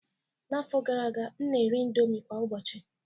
N'afọ gara aga, m na-eri indomie kwa ụbọchị